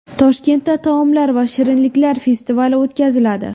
Toshkentda taomlar va shirinliklar festivali o‘tkaziladi .